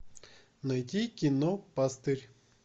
найти кино пастырь